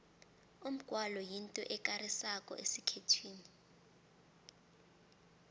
umgwalo yinto ekarisako esikhethwini